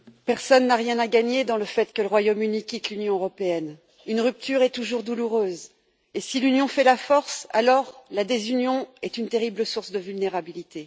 Madame la Présidente, personne n'a rien à gagner dans le fait que le Royaume Uni quitte l'Union européenne. Une rupture est toujours douloureuse, et si l'union fait la force, la désunion est une terrible source de vulnérabilité.